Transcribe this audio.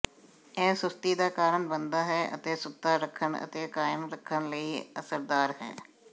ਇਹ ਸੁਸਤੀ ਦਾ ਕਾਰਣ ਬਣਦਾ ਹੈ ਅਤੇ ਸੁੱਤਾ ਰੱਖਣ ਅਤੇ ਕਾਇਮ ਰੱਖਣ ਲਈ ਅਸਰਦਾਰ ਹੈ